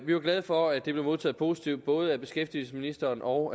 vi var glade for at det blev modtaget positivt både af beskæftigelsesministeren og